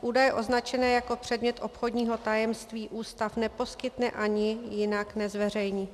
Údaje označené jako předmět obchodního tajemství ústav neposkytne ani jinak nezveřejní.